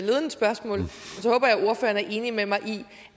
ordføreren er enig med mig i